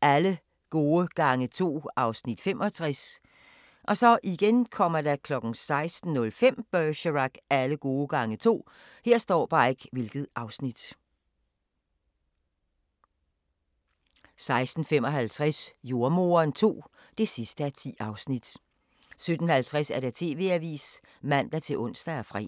Alle gode gange to (Afs. 65) 16:05: Bergerac: Alle gode gange to 16:55: Jordemoderen II (10:10) 17:50: TV-avisen (man-ons og fre)